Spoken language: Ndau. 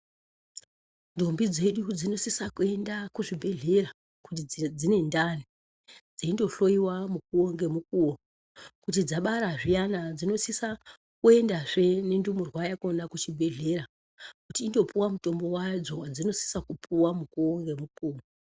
Ndombi dzedu dzinosisa kuenda kuzvibhehleya kuti dzinendani dzeindoyohloyiwa mukuwo ngemukuwo kuti dzabara zviyani dzinosisa kuendazve nendumurwa yakona kuchibhehlera kuti indopuwa mitombo yadzo yadzinosisa kupuwa mukuwo ngemukuwo.